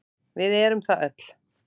Við erum það öll.